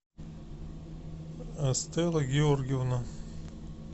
стелла георгиевна